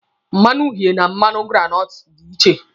Mmanu uhie na mmanụ granọtụ dị iche.